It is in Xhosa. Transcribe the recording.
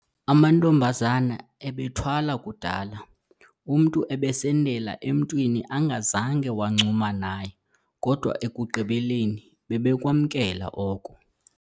Amantombazane ebethwala kudala, umntu ebesendela emntwini angazange wancuma naye kodwa ekugqibeleni bebekwamkela oko.